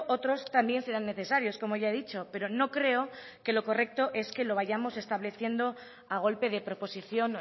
otros también serán necesarios como ya he dicho pero no creo que lo correcto es que lo vayamos estableciendo a golpe de proposición